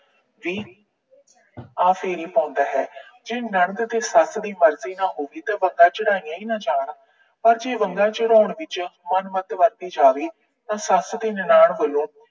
ਵੀ ਆ ਫੇਰੀ ਪਾਉਂਦਾ ਹੈ। ਜੇ ਨੰਦ ਤੇ ਸੱਸ ਦੀ ਮਰਜੀ ਨਾ ਹੋਵੇ ਤਾਂ ਬੰਗਾਂ ਚੜਾਈਆਂ ਈ ਨਾ ਜਾਣ। ਪਰ ਜੇ ਬੰਗਾਂ ਚੜਾਉਣ ਵਿੱਚ ਵੱਧਦੀ ਜਾਵੇ ਤਾਂ ਸੱਸ ਤੇ ਨਨਾਣ ਵੱਲੋਂ